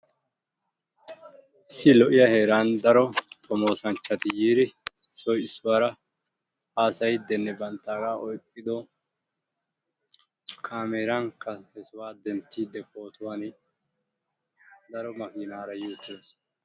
Issi lo"iya heeran daro xommoosanchchati yiiri issoy issuwara haasayiddinne banttaaga oyqqiddo kaameran he sohuwa denttiiddi pootuwan daro makkinaara bichchiddosona.